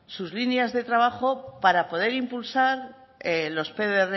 sus líneas de trabajo para poder impulsar los pdrs